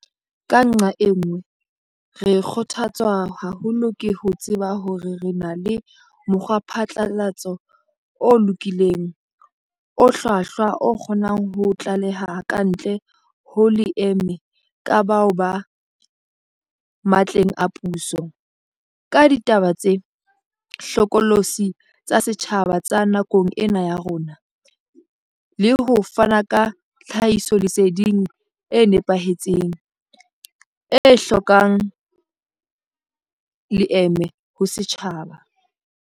Ka nqa e nngwe, re kgotha tswa haholo ke ho tseba hore re na le mokgwaphatlalatso o lokolohileng, o hlwahlwa o kgonang ho tlaleha kantle ho leeme ka bao ba matleng a puso, ka ditaba tse hlokolosi tsa setjhaba tsa nakong ena ya rona, le ho fana ka tlhahisoleseding e nepahetseng, e hlokang leeme ho setjhaba.